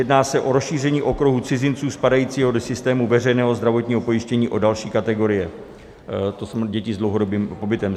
Jedná se o rozšíření okruhu cizinců spadajícího do systému veřejného zdravotního pojištění o další kategorie, to jest děti s dlouhodobým pobytem.